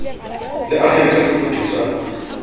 le akgele ka sefutho sa